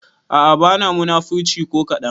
A'a bana munafurci ko kadan